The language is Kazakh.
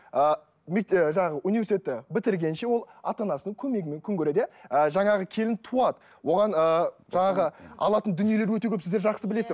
ы ы жаңағы университетті бітіргенше ол ата анасының көмегімен күн көреді иә ы жаңағы келін туады оған ыыы жаңағы алатын дүниелер өте көп сіздер жақсы білесіздер